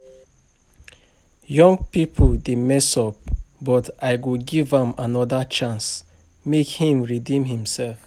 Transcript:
Young people dey mess up but I go give am another chance make im redeem himself